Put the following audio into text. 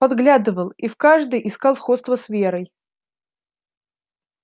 подглядывал и в каждой искал сходство с верой